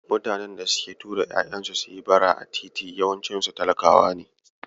Mutanen da suke tura ƴaƴansu suyi bara a titi yawancinsu talakawa ne.